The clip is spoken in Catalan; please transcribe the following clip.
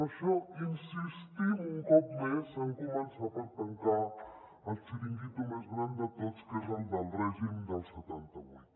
per això insistim un cop més en començar per tancar el xiringuito més gran de tots que és el del règim del setanta vuit